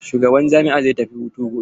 Shugaban jami'a zai tafi hutu gobe.